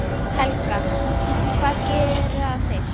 Helga: Hvað gera þeir?